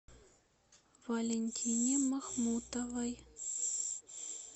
валентине махмутовой